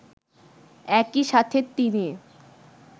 একই সাথে তিনি